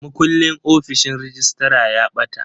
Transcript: Mukullin ofishin rejistra ya ɓata.